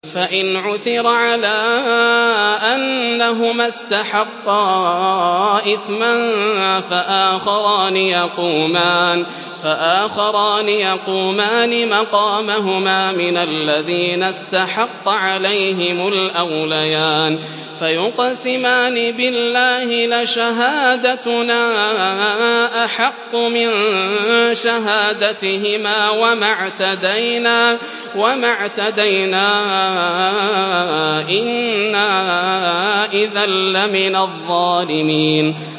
فَإِنْ عُثِرَ عَلَىٰ أَنَّهُمَا اسْتَحَقَّا إِثْمًا فَآخَرَانِ يَقُومَانِ مَقَامَهُمَا مِنَ الَّذِينَ اسْتَحَقَّ عَلَيْهِمُ الْأَوْلَيَانِ فَيُقْسِمَانِ بِاللَّهِ لَشَهَادَتُنَا أَحَقُّ مِن شَهَادَتِهِمَا وَمَا اعْتَدَيْنَا إِنَّا إِذًا لَّمِنَ الظَّالِمِينَ